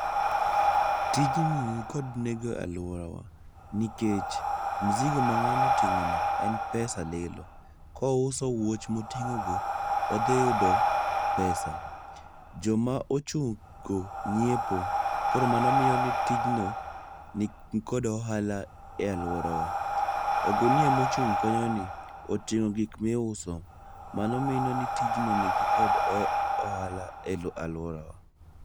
Tijno nikod nengo e aluorawa nikech mzigo ma ng'ano oting'ono, en pesa lilo. Kouso wuoch moting'o go, odhi yudo pesa. Joma ochung' go nyiepo. Koro mano miyo ni tijno nikod ohala e aluorawa. Ogunia mochung' kanyoni, oting'o gik miuso. Mano mino ni tij no nikod oh ohala e a aluorawa.